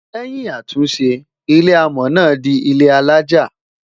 lèyìn àtúnṣe, ilé amò Na dì ilé alájá